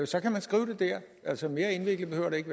så kan man skrive det der altså mere indviklet behøver det ikke